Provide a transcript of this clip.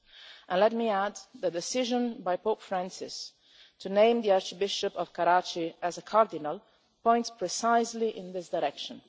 And let me add that the decision by Pope Francis to name the Archbishop of Karachi as a cardinal points precisely in this direction.